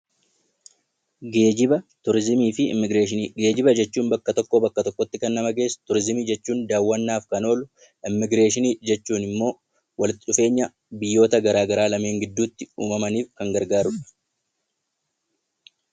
Geejiba jechuun bakka tokkoo bakka tokkotti kan nama geessu turizimii jechuun daawwannaaf kan oolu immiigireeshinii jechuun immoo walitti dhufeenya biyyoota garaagaraa lameen gidduutti uumamaniif kan gargaarudha.